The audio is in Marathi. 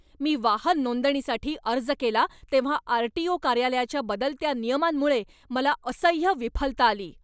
मी वाहन नोंदणीसाठी अर्ज केला तेव्हा आर.टी.ओ. कार्यालयाच्या बदलत्या नियमांमुळे मला असह्य विफलता आली.